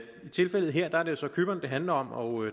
i tilfældet her er det så cypern det handler om og